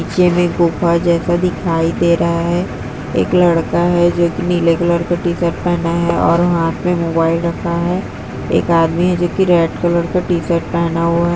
ये भी गुफा जैसा दिखाई दे रहा है एक लड़का है जो नीले कलर का टी-शर्ट पेहना है और हाथ मे मोबाइल रखा है। एक आदमी हे जो रेड कलर का टी-शर्ट पेहना हुआ है।